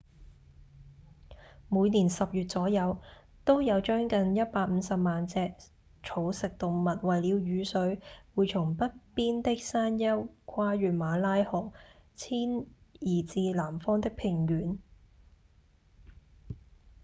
每年十月左右都有將近150萬隻草食動物為了雨水會從北邊的山丘跨越馬拉河遷移至南方的平原